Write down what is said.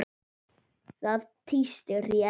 Það tístir í Eddu.